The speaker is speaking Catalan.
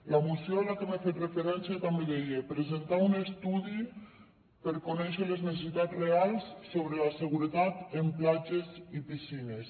la moció a la que he fet referència també deia presentar un estudi per conèixer les necessitats reals sobre la seguretat en platges i piscines